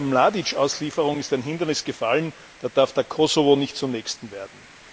Mit der Mladič Auslieferung ist ein Hindernis gefallen, da darf der Kosovo nicht zum nächsten werden.